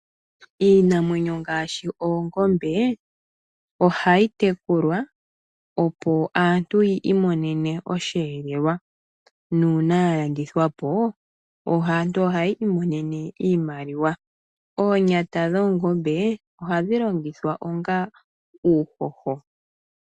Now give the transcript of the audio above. Iinamwenyo ngaashi oongombe ohayi tekulwa opo aantu yiimonene osheelelwa. Uuna yalandithwa po aantu ohaya imonene iiimaliwa . Oonyata dhoongombe ohadhi longithwa onga uuhoho .